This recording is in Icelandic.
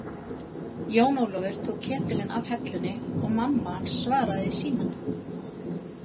Jón Ólafur tók ketilinn af hellunni og mammahans svaraði í símann.